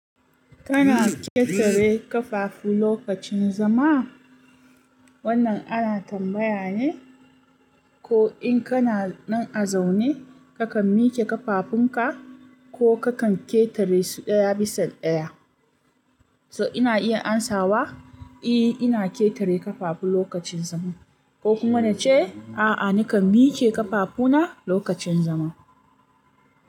Kana ƙetare ƙafafu lokacin zama? Wannan ana tambaya ne, ko in kana nan a zaune, kakan mike ƙafafunka ko kakan ƙetare su ɗaya bisan ɗaya. So ina iya amsawa, eh ina ƙetare ƙafafu lokacin zama ko kuma nace a'a nakan mike ƙafafuna lokacin zama.